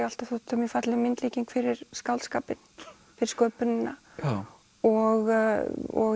alltaf þótt þetta mjög falleg myndlíking fyrir skáldskapinn fyrir sköpunina og